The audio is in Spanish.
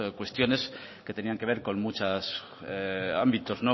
cuestiones que tenían que ver con muchas ámbitos